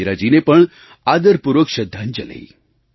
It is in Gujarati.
ઈન્દિરાજીને પણ આદરપૂર્વક શ્રદ્ધાંજલી